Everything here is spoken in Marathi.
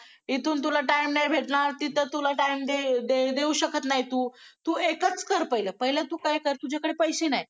इथून तुला time नाय भेटणार तिथ time दे देऊ शाकात नाय तु एकच कर पहिला तु काय कर तुझ्या कडे पैसे नाय